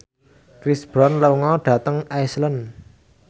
Chris Brown lunga dhateng Iceland